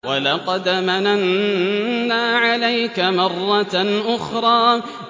وَلَقَدْ مَنَنَّا عَلَيْكَ مَرَّةً أُخْرَىٰ